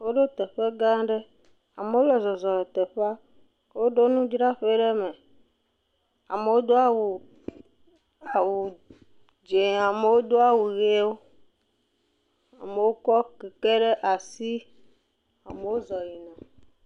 Woɖo teƒe gã aɖe, amewo le zɔzɔm le teƒea. Woɖo nudzraƒe ɖe eme. Amewo do awu dzɛ̃, amewo do awu ʋiwo, amewo kɔ kɛkɛ ɖe asi. Amewo zɔ̃ yina.